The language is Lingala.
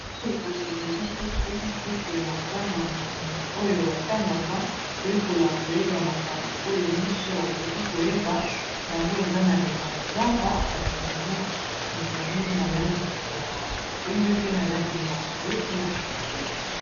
Oyo kasi ezali buku buku ya bana oyo ba tangaka koyekola koyeba makambo oyo nyoso bakoki koyeba yango eza na nyama zamba kasi yango ezali na langi ya pembe pe na langi ya mbwe pe na shokola.